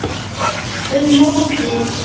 Um mótið